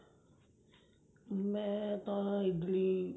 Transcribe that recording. ਮੈਂ ਤਾਂ ਇਡਲੀ